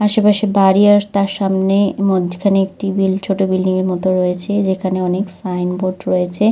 আসে পাশে বাড়ি আর তার সামনে মধ্যেখানে একটি বিল ছোট বিল্ডিং এর মতো রয়েছে যেখানে অনেক সাইন বোর্ড রয়েছে।